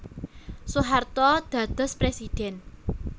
Soeharto dados Presidhèn